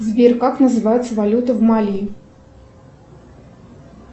сбер как называется валюта в мали